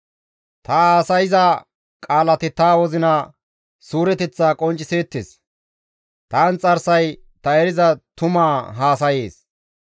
Ta haasayza qaalati ta wozina suureteththa qoncciseettes; ta inxarsay ta eriza tuma haasayees.